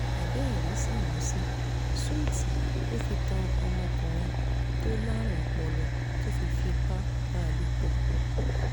àbẹ́ẹ̀rí sámúsì ṣúùtì ló fi tan ọmọkùnrin tó lárùn ọpọlọ tó fi fipá bá a lò pọ̀